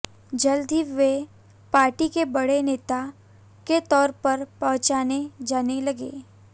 जल्द ही वे पार्टी के बड़े नेता के तौर पर पहचाने जान लगे